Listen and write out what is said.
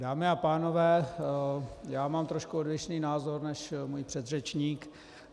Dámy a pánové, já mám trošku odlišný názor než můj předřečník.